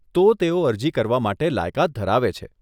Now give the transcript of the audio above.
તો, તેઓ અરજી કરવા માટે લાયકાત ધરાવે છે.